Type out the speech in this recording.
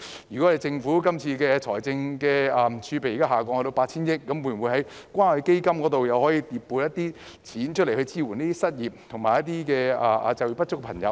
現時政府財政儲備下降至 8,000 億元，可否從關愛基金回撥一些款項來支援失業或就業不足人士呢？